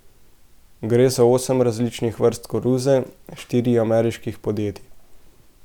Gre za osem različnih vrst koruze štirih ameriških podjetij.